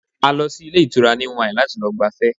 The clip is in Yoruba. A lọ sí ilé ìtura New Wine láti lọ gbafẹ́